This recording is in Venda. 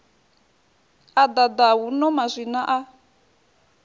a ḓaḓa huno maswina a